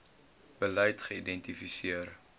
beleid geïdenti seer